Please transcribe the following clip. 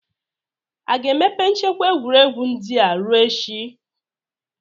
Aga-emepe nchekwa egwuregwu ndị a ruo echi?